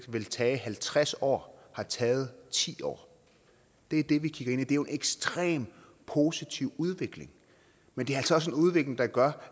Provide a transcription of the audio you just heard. ville tage halvtreds år har taget ti år det er det vi kigger ind i er jo en ekstremt positiv udvikling men det er altså også en udvikling der gør